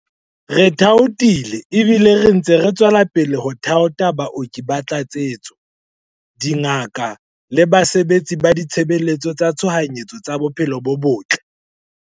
Re thaothile ebile re ntse re tswela pele ho thaotha baoki ba tlatsetso, dingaka le basebetsi ba ditshebeletso tsa tshohanyetso tsa bophelo bo botle.